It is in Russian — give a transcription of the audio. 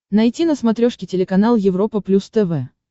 найти на смотрешке телеканал европа плюс тв